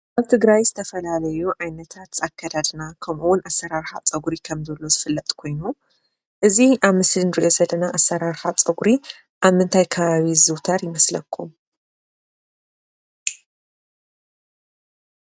ኣብ ትግራይ ዝተፈላለዩ ዓይነታት ኣከዳድና ከምኡ እውን ኣሰራርሓ ፀጉሪ ከም ዝሎ ዝፈለጥ ኮይኑ እዚ ኣብ ምስሊ እንሪኦ ዘለና ኣሰራርሓ ፀጉሪ ኣብ ምንታይ ከባቢ ይዝውተር ይመስለኩም ?